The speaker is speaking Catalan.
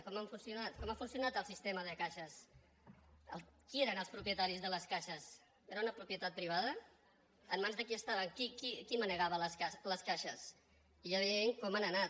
com han funcionat com ha funcionat el sistema de caixes qui eren els propietaris de les caixes era una propietat privada en mans de qui estaven qui manegava les caixes i ja veiem com han anat